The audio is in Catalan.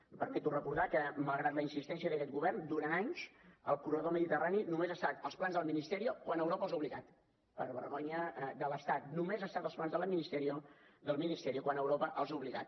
em permeto recordar que malgrat la insistència d’aquest govern durant anys el corredor mediterrani només ha estat als plans del ministerio quan europa els hi ha obligat per vergonya de l’estat només ha estat als plans del ministerio quan europa els hi ha obligat